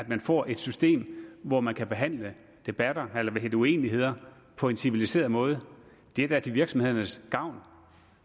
man får et system hvor man kan behandle urimeligheder på en civiliseret måde det er da til virksomhedernes gavn